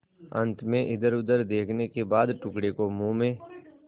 अंत में इधरउधर देखने के बाद टुकड़े को मुँह में